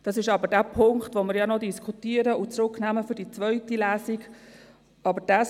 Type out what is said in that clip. Das ist aber der Punkt, den wir noch diskutieren und im Hinblick auf die zweite Lesung zurücknehmen werden.